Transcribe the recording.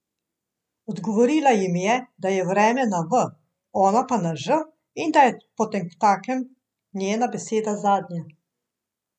Odgovorila jim je, da je vreme na V, ona pa na Ž in da je potemtakem njena beseda zadnja.